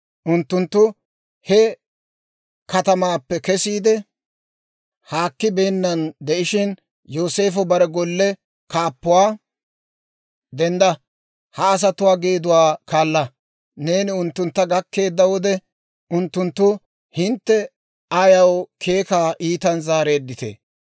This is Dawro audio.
Unttunttu he katamaappe kesiide haakki beennan de'ishshin, Yooseefo bare golle kaappuwaa, «Dendda! Ha asatuwaa geeduwaa kaala; neeni unttuntta gakkeedda wode unttunttu, ‹Hintte ayaw keekaa iitan zaareedditee?